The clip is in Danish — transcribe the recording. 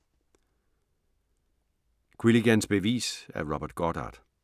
Quilligans bevis af Robert Goddard